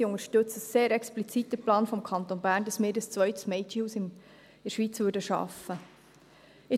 Sie unterstützen den Plan des Kantons Bern sehr explizit, dass wir ein zweites Mädchenhaus in der Schweiz schaffen würden.